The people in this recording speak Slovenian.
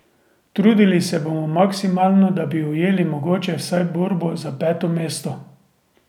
Trudili se bomo maksimalno, da bi ujeli mogoče vsaj borbo za peto mesto.